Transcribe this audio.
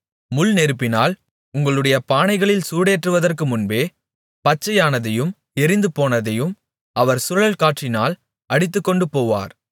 முள் நெருப்பினால் உங்களுடைய பானைகளில் சூடேறுவதற்கு முன்பே பச்சையானதையும் எரிந்துபோனதையும் அவர் சுழல் காற்றினால் அடித்துக்கொண்டு போவார்